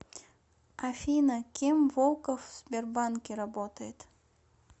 афина кем волков в сбербанке работает